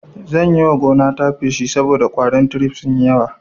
Zan yiwa gonata feshi saboda ƙwarin tirif sunyi yawa